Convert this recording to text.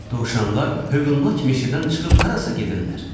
Dovşanlar hövlnak meşədən çıxıb harasa gedirlər?